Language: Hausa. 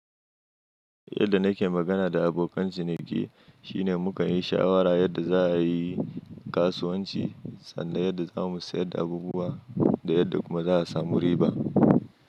Yadda nake magana da abokan ciniki shine mukan yi shawara yadda za a yi kasuwanci sannan yadda za mu sayar da abubuwa da yadda kuma za a samu riba.